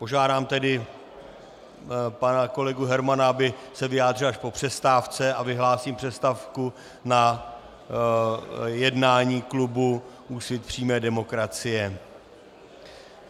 Požádám tedy pana kolegu Hermana, aby se vyjádřil až po přestávce, a vyhlásím přestávku na jednání klubu Úsvit přímé demokracie.